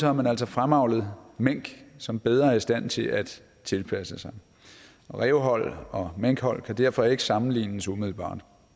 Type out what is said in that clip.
har man altså fremavlet mink som er bedre i stand til at tilpasse sig rævehold og minkhold kan derfor ikke sammenlignes umiddelbart